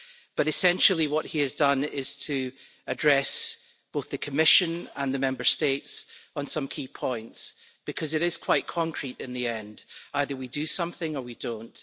But essentially, what he has done is to address both the Commission and the Member States on some key points, because it is quite concrete in the end either we do something or we don't.